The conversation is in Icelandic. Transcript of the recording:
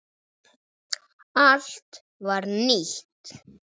Allt var nýtt.